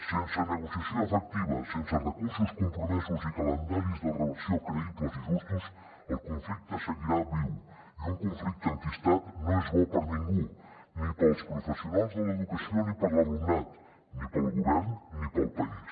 sense negociació efectiva sense recursos compromesos i calendaris de reversió creïbles i justos el conflicte seguirà viu i un conflicte enquistat no és bo per a ningú ni per als professionals de l’educació ni per a l’alumnat ni per al govern ni per al país